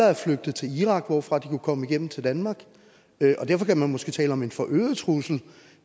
er flygtet til irak hvorfra de kan komme igennem til danmark og derfor kan man måske tale om en forøget trussel